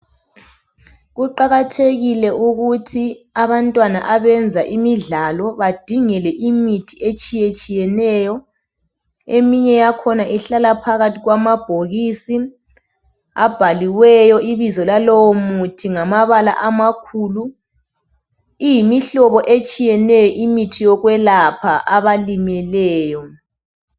kuqakathekile ukuthi abantwana abenza imidlalo badingelwe imithi etshiyetshiyeneyo yakhona ihlala phakathi kwamabokisi abhaliweyo ibizo lalowo muthi ngamabala amakhulu iyimihlobo etshiyeneyo imithi yokwelapha abalimeleyo